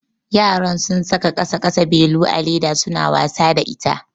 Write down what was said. Yaran sun saka ƙasa ƙasa belu a leda suna wasa da ita.